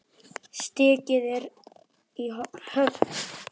Stigið er í höfn!